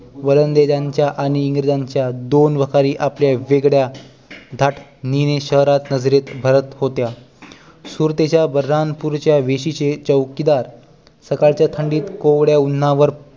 वलंदाजांच्या आणि इंग्रजांच्या दोन वखारी आपला वेगळा घाट मिरवीत शहरात नजरेत भरत होत्या सुरतेच्या वरदानपुरीच्या वेशीचे चौकीदार सकाळच्या थंडीत कोवळ्या उन्हावर